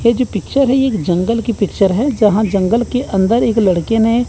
ये जो पिक्चर है एक जंगल की पिक्चर है जहां जंगल के अंदर एक लड़के ने--